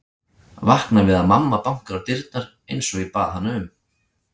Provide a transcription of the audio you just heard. Vakna við að mamma bankar á dyrnar einsog ég bað hana um.